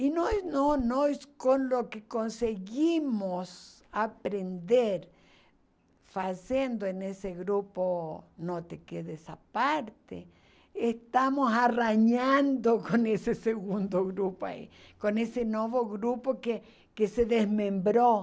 E nós, não, nós com o que conseguimos aprender fazendo em nesse grupo, não te à parte, estamos arranhando com esse segundo grupo aí, com esse novo grupo que que se desmembrou.